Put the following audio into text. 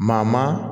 Maa maa